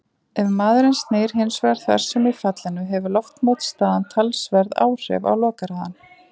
Ef maðurinn snýr hins vegar þversum í fallinu hefur loftmótstaðan talsverð áhrif á lokahraðann.